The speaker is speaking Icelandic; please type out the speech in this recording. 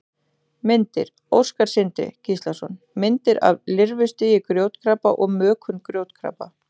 Myndir: Óskar Sindri Gíslason: Myndir af lirfustigi grjótkrabba og mökun grjótkrabba.